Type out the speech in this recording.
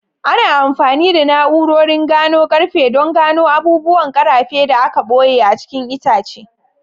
Ana amfani da na'urorin gano ƙarfe don gano abubuwan ƙarfe da aka ɓoye a cikin itace.